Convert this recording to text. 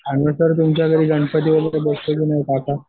आणि नंतर तुमच्या घरी गणपती